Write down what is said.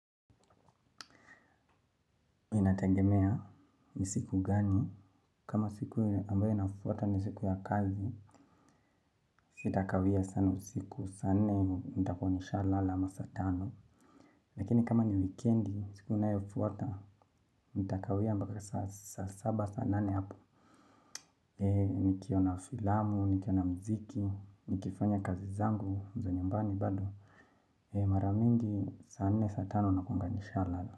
Inategemea ni siku gani? Kama siku ambayo inafuata ni siku ya kazi, sitakawia sana usiku saa nne nitakuwa nishalala ama saa tano. Lakini kama ni wikendi, siku inayofuata, nitakawia mpaka saba saba saba nane hapo. Nikiona filamu, nikiona mziki, nikifanya kazi zangu, za nyumbani bado. Mara mingi, saa nne saa tano nakuanga lala.